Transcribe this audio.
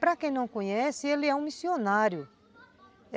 Para quem não conhece, ele é um missionário.